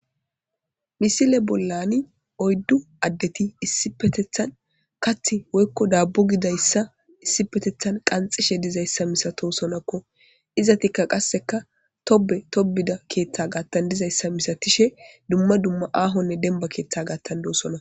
misile bollani oyddu addeti issipetethan kath woykko daabbu gidayssa issipetethan qanxishe dizayssa misato sonakko izatikka qasseka tobe tobida keeththa gaattan dizayssa misatishe dumma dumma aahonne demba keeththa gaattan doosona